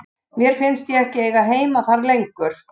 Mér fannst ég ekki eiga heima þar lengur.